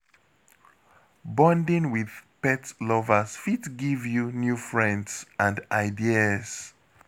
Bonding with pet lovers fit give you new friends and ideas.